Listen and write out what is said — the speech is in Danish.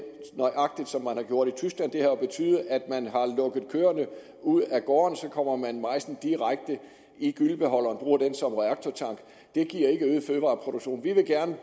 som man har gjort i tyskland det har jo betydet at man har lukket køerne ud af gårdene og så kommer man majsen direkte i gyllebeholderen og bruger den som reaktortank det giver ikke øget fødevareproduktion vi vil gerne